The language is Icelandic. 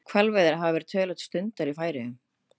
Hvalveiðar hafa töluvert verið stundaðar í Færeyjum.